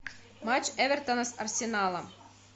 матч эвертона с арсеналом